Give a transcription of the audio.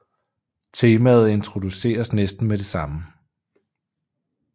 Temaet introduceres næsten med det samme